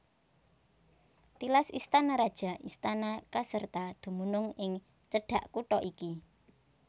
Tilas istana raja istana Caserta dumunung ing cedhak kutha iki